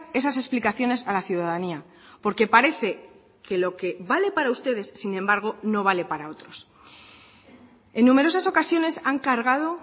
esas explicaciones a la ciudadanía porque parece que lo que vale para ustedes sin embargo no vale para otros en numerosas ocasiones han cargado